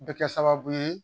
Bɛ kɛ sababu ye